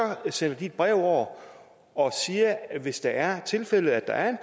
sender de et brev over og siger hvis det er tilfældet at der er en